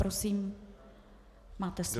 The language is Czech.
Prosím, máte slovo.